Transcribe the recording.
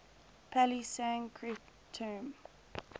pali sanskrit term